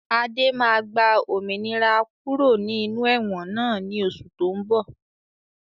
Adé máa gba òmìnira kúrò ní inú ẹ̀wọ̀n náà ni oṣù to ń bọ̀